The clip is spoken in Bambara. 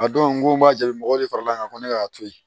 A don ko n b'a jaabi mɔgɔw de fara l'an kan ko ne k'a to yen